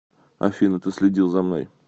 афина ты следил за мной